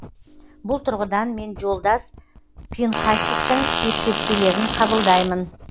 бұл тұрғыдан мен жолдас пинхасиктің ескертпелерін қабылдаймын